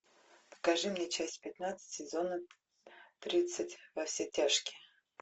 покажи мне часть пятнадцать сезона тридцать во все тяжкие